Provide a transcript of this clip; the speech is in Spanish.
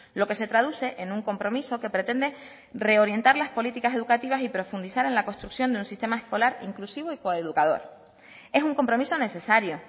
lo que se traduce en un compromiso que pretende reorientar las políticas educativas y profundizar en la construcción de un sistema escolar inclusivo y coeducador es un compromiso necesario